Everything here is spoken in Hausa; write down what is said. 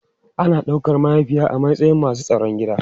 Ana daukar mahaifiya a matsayin masu tsaron gida.